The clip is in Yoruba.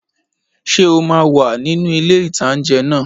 Ṣé o máa wà nínu ilé-ìtánjẹ náà?